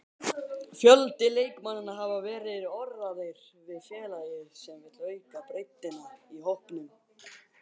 Fjöldi leikmanna hafa verið orðaðir við félagið sem vill auka breiddina í hópnum.